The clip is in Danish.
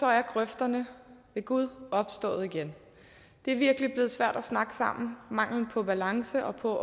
er grøfterne ved gud opstået igen det er virkelig blevet svært at snakke sammen mangelen på balance og på